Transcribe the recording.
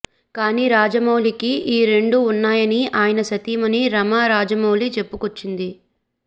కానీ రాజమౌళికి ఈ రెండు ఉన్నాయని ఆయన సతీమణి రమా రాజమౌళి చెప్పుకొచ్చింది